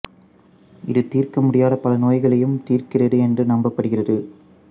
இது தீர்க்க முடியாத பல நோய்களையும் தீர்க்கிறது என்று நம்பப்படுகிறது